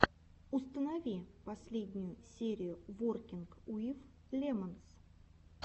установи последнюю серию воркинг уив лемонс